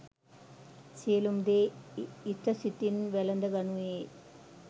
සියලුම දේ ඉතසිතින් වැළඳ ගනුයේ